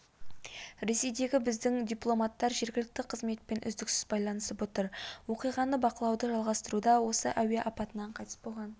ресейдегі біздің дипломаттар жергілікті қызметпен үздіксіз байланысып отыр оқиғаны бақылауды жалғастыруда осы әуе апатынан қайтыс болған